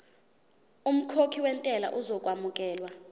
umkhokhi wentela uzokwamukelwa